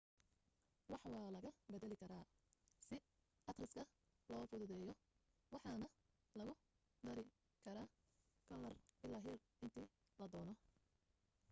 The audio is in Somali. wax waa laga badali karaa si aqriska loo fududeyo waxaana lagu dari karaa kalar ilaa heer inti ladoono